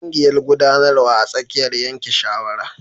Ƙungiƴar guɗanarwa a tsakiyar yanke shawara.